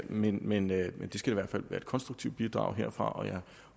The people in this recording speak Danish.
men men det skal i hvert fald være et konstruktivt bidrag herfra og jeg